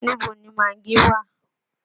Níbo ni magí wà?